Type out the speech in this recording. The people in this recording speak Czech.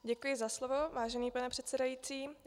Děkuji za slovo, vážený pane předsedající.